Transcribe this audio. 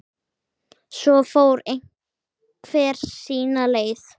Svo fór hver sína leið.